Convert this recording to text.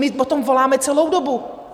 My po tom voláme celou dobu.